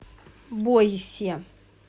бойсе